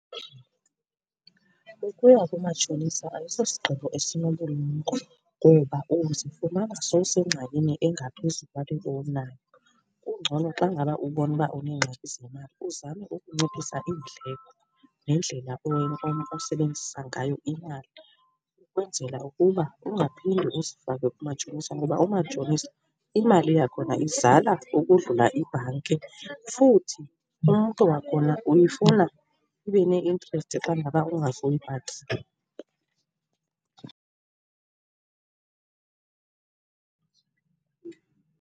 Ukuya kumatshonisa ayisosigqibo esinobulumko ngoba uzifumana sowusengxakini engaphezu kwale ubunayo. Kungcono xa ngaba ubona uba uneengxaki zemali uzame ukunciphisa iindleko nendlela osebenzisa ngayo imali ukwenzela ukuba ungaphinde uzifake kumatshonisa ngoba umatshonisa, imali yakhona izala ukodlula ibhanki, futhi umntu wakhona uyifuna ibe ne-interest xa ngaba ungazuyibhatala.